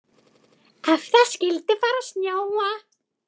Ef það skyldi fara að snjóa.